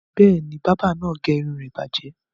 Bẹ́ẹ̀ ni, bábà náà gé irun rẹ bàjẹ́.